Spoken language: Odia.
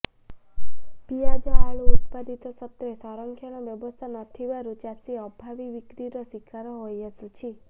ପିଆଜ ଆଳୁ ଉତ୍ପାଦିତ ସତ୍ତ୍ବେ ସଂରକ୍ଷଣର ବ୍ୟବସ୍ଥା ନଥିବାରୁ ଚାଷୀ ଅଭାବୀ ବିକ୍ରିର ଶିକାର ହୋଇଆସୁଛି